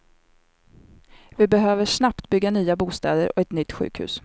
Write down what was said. Vi behöver snabbt bygga nya bostäder och ett nytt sjukhus.